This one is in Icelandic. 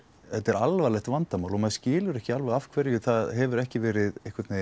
þetta er alvarlegt vandamál og maður skilur ekki alveg af hverju það hefur ekki verið